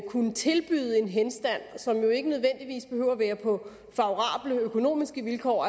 kunne tilbyde henstand som jo ikke nødvendigvis behøver at være på favorable økonomiske vilkår